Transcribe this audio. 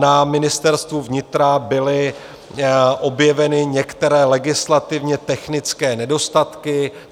Na Ministerstvu vnitra byly objeveny některé legislativně technické nedostatky.